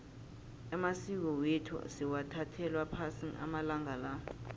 amasiko wethu sewathathelwa phasi amalanga la